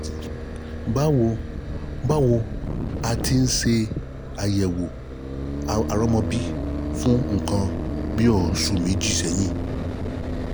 báwo báwo a ti ń ṣe àyẹ̀wò àrọ́mọbí fún nǹkan bí oṣù méjì sẹ́yìn